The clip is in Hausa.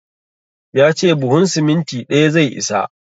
Ya ce buhun siminti ɗaya zai isa.